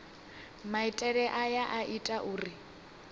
maitele aya a ita uri